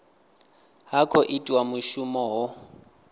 ha khou itiwa mushumo ho